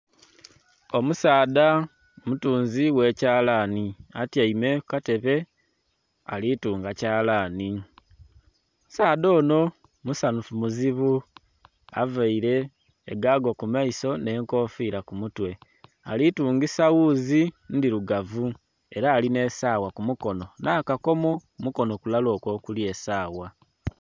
Omusaadha omutunzi ghe kyalani aytaime ku katebe alitunga kyalani, omusaadha onho musaanhufu muzibu avaire egago ku maiso nhe enkofira ku mutwe. Ali tungisa ghuuzi ndhirugavu era ali nhe sawa ku mukonho nha kakomo ku mukonho kulala okwo okuli esawa.